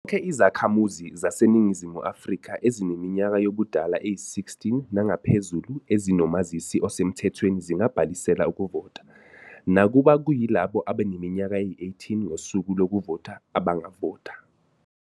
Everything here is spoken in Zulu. Izakhamuzi zaseNingizimu Afrika ezineminyaka yobudala eyi-16 nangaphezulu ezinomazisi osemthethweni zingabhalisela ukuvota, nakuba kuyilabo abaneminyaka eyi-18 ngosuku lokuvota abangavota.